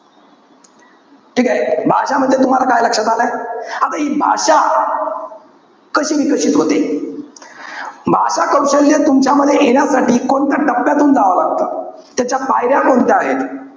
ठीकेय? भाषा म्हणजे तुम्हाला काय लक्षात आलय? आता हि भाषा कशी विकसित होते? भाषा कौशल्य तुमच्यामध्ये येण्यासाठी कोणत्या टप्प्यातून जावं लागतं? त्याच्या पायऱ्या कोणत्या आहेत?